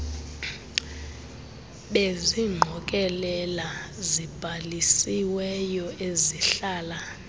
bezingqokelela zibhalisiweyo ezihlala